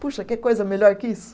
Puxa, quer coisa melhor que isso?